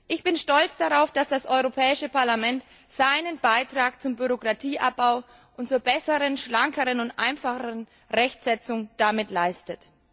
Ich bin stolz darauf, dass das Europäische Parlament damit seinen Beitrag zum Bürokratieabbau und zur besseren, schlankeren und einfacheren Rechtsetzung leistet.